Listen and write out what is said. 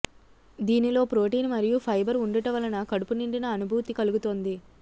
దీనిలో ప్రోటీన్ మరియు ఫైబర్ ఉండుట వలన కడుపు నిండిన అనుభూతి కలుగుతుంది